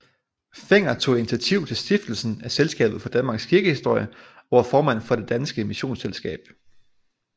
Fenger tog initiativ til stiftelsen af Selskabet for Danmarks Kirkehistorie og var formand for Det Danske Missionsselskab